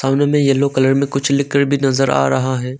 Yellow colour में कुछ लिखकर भी नजर आ रहा है।